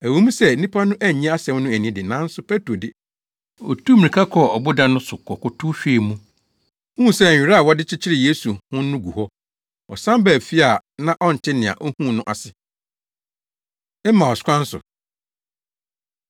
Ɛwɔ mu sɛ nnipa no annye asɛm no anni de, nanso Petro de, otuu mmirika kɔɔ ɔboda no so kɔkotow hwɛɛ mu, huu sɛ nwera a wɔde kyekyeree Yesu ho no gu hɔ. Ɔsan baa fie a na ɔnte nea ohuu no ase. Emaus Kwan So